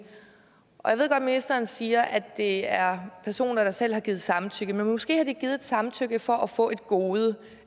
ministeren siger at det er personer der selv har givet samtykke men måske har de givet samtykke for at få et gode